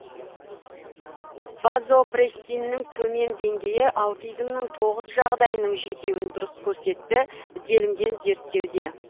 вазопрессиннің төмен деңгейі аутизмнің тоғыз жағдайының жетеуін дұрыс көрсетті делінген зерттеуде